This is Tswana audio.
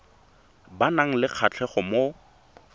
ba nang le kgatlhego mo